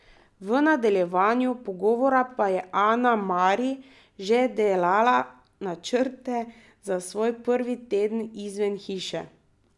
V nadaljevanju pogovora pa je Ana Mari že delala načrte za svoj prvi teden izven hiše.